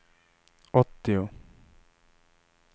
åttio